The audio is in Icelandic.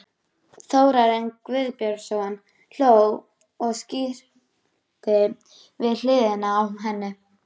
Þórarinn Guðbjörnsson hló og skríkti við hliðina á henni.